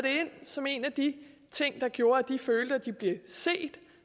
ind som en af de ting der gjorde at de følte at de blev set